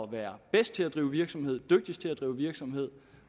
være bedst til at drive virksomhed dygtigst til at drive virksomhed